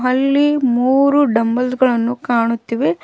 ಅಲ್ಲಿ ಮೂರು ಡಂಬಲ್ಸ್ ಗಳನ್ನು ಕಾಣುತ್ತಿವೆ.